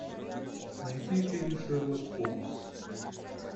найти фильм шерлок холмс